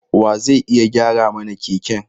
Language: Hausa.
Wa zai iya gyara mana keken?